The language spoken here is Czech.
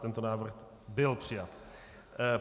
Tento návrh byl přijat.